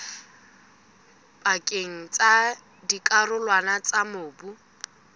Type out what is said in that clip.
pakeng tsa dikarolwana tsa mobu